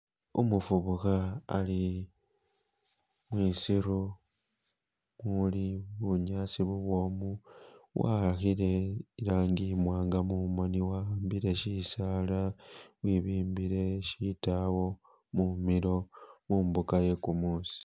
Umufubukha ali mwisiru muli bunyasi bu bwomu wahakile ilaangi imwanga mumoni wahambile shisaala webimbile shitawo mumilo mumbuga yegumusi